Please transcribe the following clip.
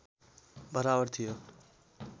बराबर थियो